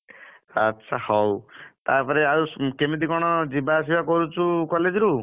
ଆଛା ହଉ ତାପରେ ଆଉ କେମିତି କଣ ଯିବା ଆସିବା କରୁଛୁ college ରୁ?